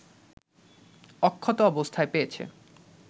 অক্ষত অবস্থায় পেয়েছে